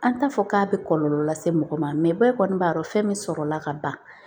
An t'a fɔ k'a bɛ kɔlɔlɔ lase mɔgɔ ma ba kɔni b'a yɔrɔ fɛn min sɔrɔ la ka ban